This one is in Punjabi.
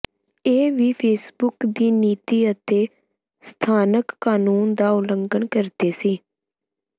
ਇਹ ਵੀ ਫੇਸਬੁੱਕ ਦੀ ਨੀਤੀ ਅਤੇ ਸਥਾਨਕ ਕਾਨੂੰਨ ਦਾ ਉਲੰਘਣ ਕਰਦੇ ਸੀ